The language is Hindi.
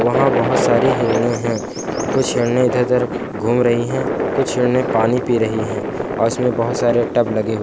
वहां बहुत सारी हिरने हैं कुछ हिरने इधर उधर घूम रही हैं कुछ हिरने पानी पी रही हैं और उसमे बहुत सारे टब लगे हुए--